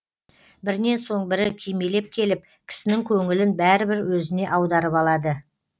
бірінен соң бірі кимелеп келіп кісінің көңілін бәрібір өзіне аударып алады